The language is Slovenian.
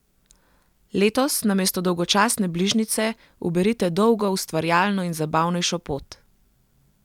Letos namesto dolgočasne bližnjice uberite dolgo, ustvarjalno in zabavnejšo pot!